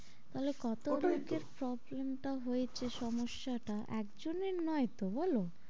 তা হলে কত লোকের ওটাই তো problem টা হয়েছে সমস্যাটা একজনের নয় তো বলো?